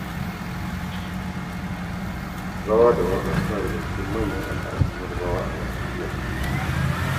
Rawa da waƙa suna daga cikin manyan al'adun yarabawa a Najeriya.